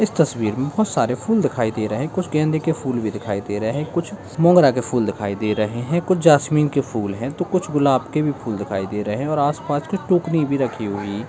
इस तस्वीर में बहुत सारे फूल दिखाई दे रहे हैं कुछ गेंदे के फूल भी दिखाई दे रहे है कुछ मोगरा के फूल दिखाई दे रहे हैं कुछ जास्मीन के फूल हैं तो कुछ गुलाब के भी फूल दिखाई दे रहे हैं और आस-पास के टोकरी भी रखी हुई ---